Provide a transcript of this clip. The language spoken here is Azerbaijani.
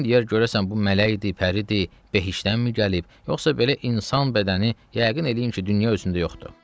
Baxan deyər görəsən bu mələkdir, pəridir, behiştdənmi gəlib, yoxsa belə insan bədəni yəqin eləyin ki, dünya özündə yoxdur.